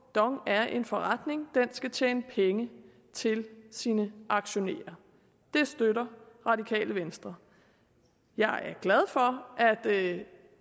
dong er en forretning den skal tjene penge til sine aktionærer det støtter radikale venstre jeg er glad for at